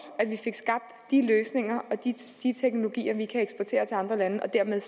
at vi fik skabt de løsninger og de teknologier vi kan eksportere til andre lande og dermed